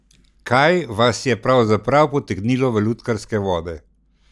Kaj vas je pravzaprav potegnilo v lutkarske vode?